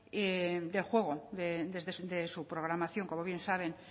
del juego de su programación como bien saben